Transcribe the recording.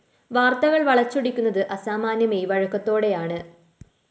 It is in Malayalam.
വാര്‍ത്തകള്‍ വളച്ചൊടിക്കുന്നത് അസാമാന്യ മെയ്‌വഴക്കത്തോടെയാണ്